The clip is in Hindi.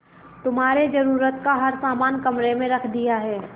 तुम्हारे जरूरत का हर समान कमरे में रख दिया है